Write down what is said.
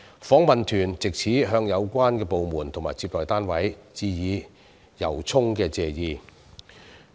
訪問團藉此向有關的部門和接待單位致以由衷的謝意。